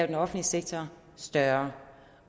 den offentlige sektor større